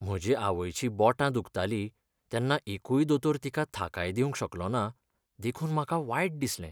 म्हजे आवयचीं बोटां दुखताली तेन्ना एकूय दोतोर तिका थाकाय दिवंक शकलो ना देखून म्हाका वायट दिसलें..